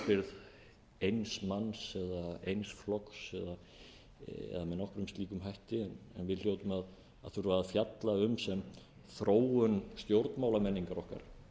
manns eða eins flokks eða með nokkrum slíkum hætti en við hljótum að þurfa að fjalla um sem þróun stjórnmálamenningar okkar